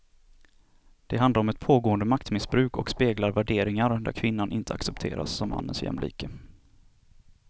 Det handlar om ett pågående maktmissbruk och speglar värderingar där kvinnan inte accepteras som mannens jämlike.